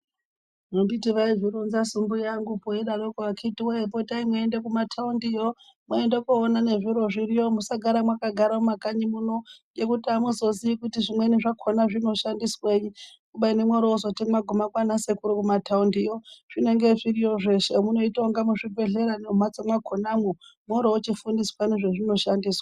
Anditi vaizvironzasu mbuya vangu veyidaro itayi mweienda mumathaundi iyoo, moita mweyiona zviro zviriyo .Musagare mwakagara mumakanyi munomu ngokuti amuzoziyi kuti zvimweni zvakhona zvinoshandiswei kubeni mozoti mwaguma kwaana sekuru mumathaundi yoo zvinenge zviriyo zveshe, munoita kunge muchibhedhlera mumbatso mwakhona umwo mwotochifundiswa nezvazvinoshandiswa.